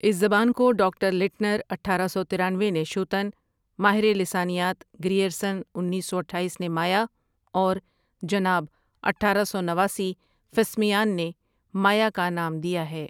اس زبان کو doctor Leitner اٹھارہ سو ترانوے نے شوتن، ماہر لسانیات گریرسن انیس سو اٹھایس نے مایا اور جناب اٹھارہ سو نواسی فسمیان نے مایا کا نام دیا ہے ۔